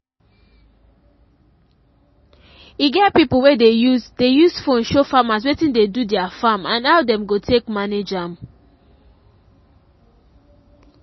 e get pipo wey dey use dey use phone show farmers wetin de do their farm and how dem go take manage am